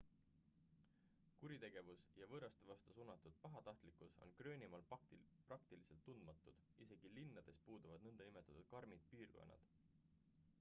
kuritegevus ja võõraste vastu suunatud pahatahtlikkus on gröönimaal praktiliselt tundmatud isegi linnades puuduvad nn karmid piirkonnad